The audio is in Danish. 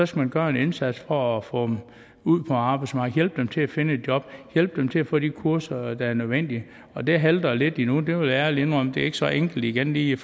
skal man gøre en indsats for at få dem ud på arbejdsmarkedet hjælpe dem til at finde et job hjælpe dem til at få de kurser der er nødvendige og det halter lidt endnu det vil jeg ærligt indrømme det er ikke så enkelt igen lige